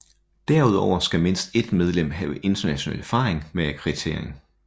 Derudover skal mindst et medlem have international erfaring med akkreditering